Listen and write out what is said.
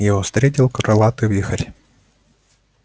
его встретил крылатый вихрь